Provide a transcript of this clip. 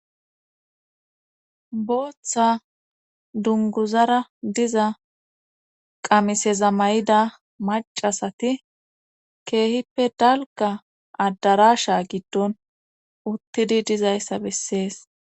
bootha dunguzara diza qamiseza mayida maccasati keehippe dalgga addaraasha giddon uttidi dizayssa besses.